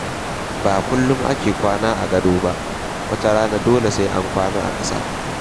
Ba kullum ake kwana a gado ba, wata rana dole a kwana a ƙasa.